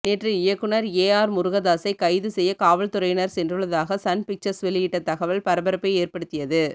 நேற்று இயக்குனர் A R முருகதாசை கைது செய்ய காவல்துறையினர் சென்றுள்ளதாக சன் பிக்சர்ஸ் வெளியிட்ட த்கவல் பரபரப்பை ஏற்படுத்தியது